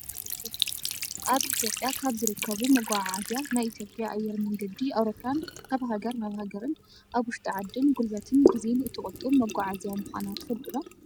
ኣብ ኢትዮጵያ ካብ ዝርከቡ መጓዓዓዝያ ናይ ኢትዮጵያ ኣየር መንገዲ ኣውሮፕላን ካብ ሃገር ናብ ሃገርን ኣብ ውሽጢ ዓድን ጉልበትን ግዜን እትቁጡብ መጓዓዝያ ምኳና ትፈልጡ ዶ ?